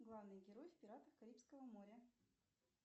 главный герой в пиратах карибского моря